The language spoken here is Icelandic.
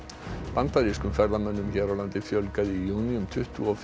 bandarískum ferðamönnum hér á landi fjölgaði í júní um tuttugu og